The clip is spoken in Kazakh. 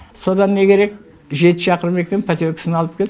содан не керек жеті шақырым екен поселкесіне алып кел